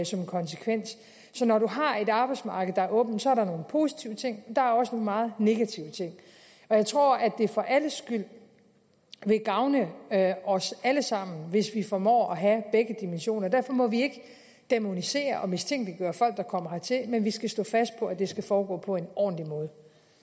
som konsekvens så når man har et arbejdsmarked der er åbent er der nogle positive ting der er også nogle meget negative ting og jeg tror at det vil gavne os alle sammen hvis vi formår at have begge dimensioner derfor må vi ikke dæmonisere og mistænkeliggøre folk der kommer hertil men vi skal stå fast på at det skal foregå på en ordentlig måde